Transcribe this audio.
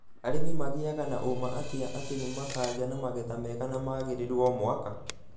Arĩmi magĩaga na ũũma atĩa atĩ nĩ makagĩa na magetha mega na magĩrĩru omwaka?